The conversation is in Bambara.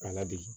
A ladege